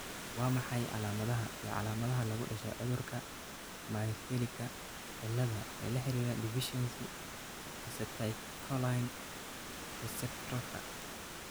Waa maxay calaamadaha iyo calaamadaha lagu dhasho cudurka myasthenika cilaad ee la xidhiidha deficiency acetylcholine receptorka?